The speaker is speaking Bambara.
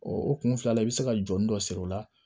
o kun filila i bɛ se ka jɔni dɔ siri o la